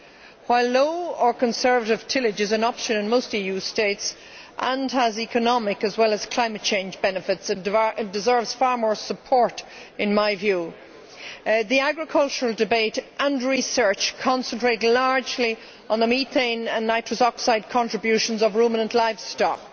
While low or conservation tillage is an option in most EU states and has economic as well as climate change benefits and deserves far more support, in my view the agricultural debate and research concentrate largely on the methane and nitrous oxide contributions of ruminant livestock.